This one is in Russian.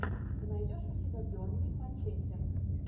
ты найдешь у себя бернли манчестер